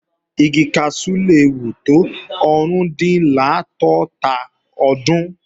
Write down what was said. Igi kaṣú le wù tó árùndinláàdọ́tà ọdún